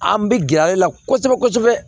An bɛ gɛrɛ ale la kosɛbɛ kosɛbɛ